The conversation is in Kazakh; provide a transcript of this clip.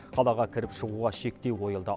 қалаға кіріп шығуға шектеу қойылды